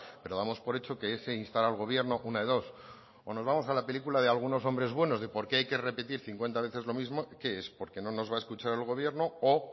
pero damos por hecho que ese instar al gobierno una de dos o nos vamos a la película de algunos hombres buenos de por qué hay que repetir cincuenta veces lo mismo qué es porque no nos va a escuchar el gobierno o